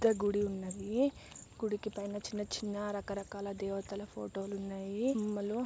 పెద్ద గుడి ఉన్నదీ . గుడికి పైన చిన్న చిన్న రకరకాల దేవతల ఫోటోలు ఉన్నాయి. బొమ్మలు--